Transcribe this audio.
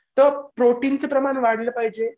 तो प्रोटीनचे प्रमाण वाढलं पाहिजे.